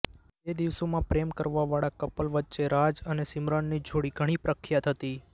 તે દિવસોમાં પ્રેમ કરવા વાળા કપલ વચ્ચે રાજ અને સીમરનની જોડી ઘણી પ્રખ્યાત હતી